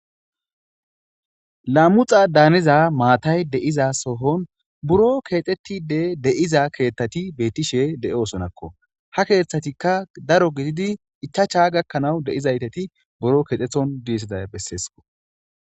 Lamuxxada hanizza matayi de'iza so7on burro kexxetide de'iza ketati bettishshe de'osonakko ,haa keththatikka daro gididi ichashsha gakanawu de'izayisati buro kexxetonni dizayisata besses.